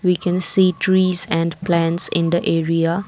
we can see trees and plants in the area.